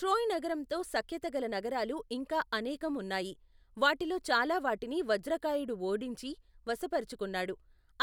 Troy నగరంతో సఖ్యత గల నగరాలు ఇంకా అనేకం ఉన్నాయి, వాటిలో చాలా వాటిని వజ్రకాయుడు ఓడించి, వశపరుచుకున్నాడు,